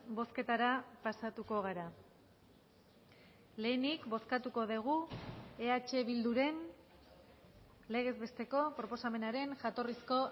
bozketara pasatuko gara lehenik bozkatuko dugu eh bilduren legez besteko proposamenaren jatorrizko